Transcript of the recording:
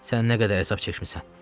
Sən nə qədər hesab çəkmisən?